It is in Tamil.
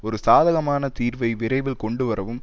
ஒரு சாதகமான தீர்வை விரைவில் கொண்டு வரவும்